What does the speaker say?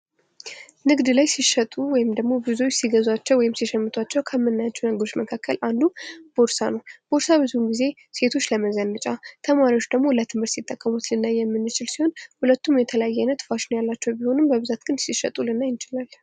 ንግድ ላይ ሲሸጡ ወይም ደግሞ ሲገዙአቸው ወይም ሲሸምቶቸው ከምናያቸው ነገሮች መካከል ቦርሳ ነው። ቦርሳ ብዙን ጊዜ ሴትዎች ለመዘነጫ ተማሪዎች ደግሞ ለትምህርት ሲጠቀሙት ልናይ የምንችል ሲሆን ሁለቱም የተለያዩ አይነት ፋሽን ያላቸው ቢሆኑም ሲሸጡ ልናይ እንችላለን።